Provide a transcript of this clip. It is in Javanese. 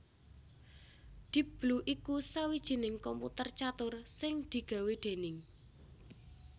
Deep Blue iku sawijining komputer catur sing digawé déning